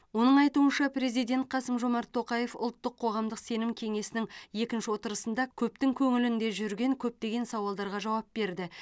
оның айтуынша президент қасым жомарт тоқаев ұлттық қоғамдық сенім кеңесінің екінші отырысында көптің көңілінде жүрген көптеген сауалдарға жауап берді